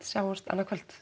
sjáumst annað kvöld